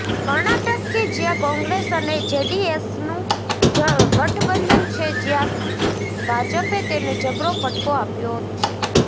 કર્ણાટક કે જ્યાં કોંગ્રેસ અને જેડીએસનુ ગઠબંધન છે ત્યાં ભાજપે તેને જબરો ફટકો આપ્યો છે